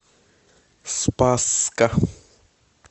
спасска